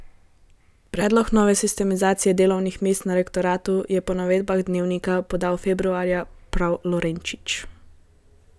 Predlog nove sistemizacije delovnih mest na rektoratu je po navedbah Dnevnika podal februarja prav Lorenčič.